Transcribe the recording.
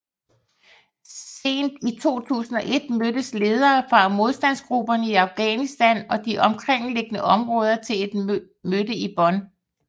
Sent i 2001 mødtes ledere fra modstandsgrupperne i Afghanistan og de omkringliggende områder til et mødte i Bonn